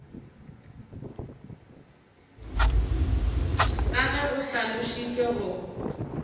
ka ge go hlalošitšwe go